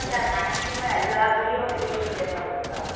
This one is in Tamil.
இப்போ maximum எல்லா video வும் you tube லயும் வருதுக்கா